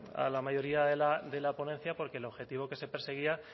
a la mayoría de la ponencia porque el objetivo que se perseguía